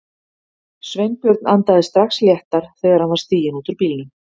Sveinbjörn andaði strax léttar þegar hann var stiginn út úr bílnum.